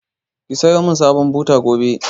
Ki sayo man sabon buta gobe!